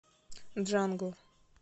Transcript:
джангл